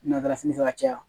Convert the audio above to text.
Nata fini fɛ ka caya